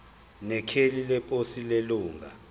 nekheli leposi lelunga